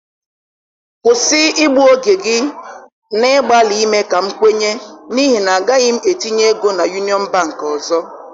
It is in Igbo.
Kwụsị igbu oge gị na-agbalị ime ka m kwenye n'ihi na agaghị m etinye ego na Union Bank ọzọ